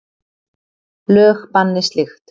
Lög banni slíkt.